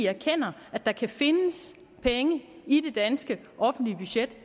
erkender at der kan findes penge i det danske offentlige budget